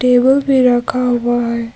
Table भी रखा हुआ है।